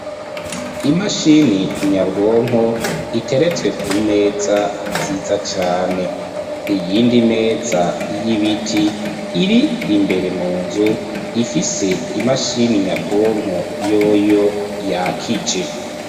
Imashini nyabwonko iteretswe ku meza nziza cane .Iyindi meza y'ibiti iri imbere mu nzu ifise imashini nyabwonko yoyo yakije.